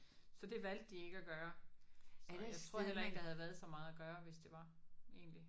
Så det valgte de ikke at gøre så jeg tror heller ikke der havde været så meget at gøre hvis det var egentlig